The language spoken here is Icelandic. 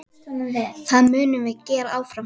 Það munum við gera áfram.